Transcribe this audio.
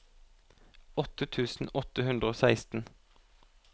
åtte tusen åtte hundre og seksten